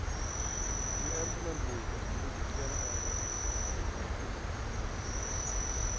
Ju äldre man blir, desto viktigare är det att man får vara frisk.